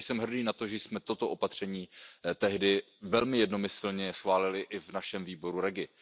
Jsem hrdý na to, že jsme toto opatření tehdy velmi jednomyslně schválili i v našem výboru REGI.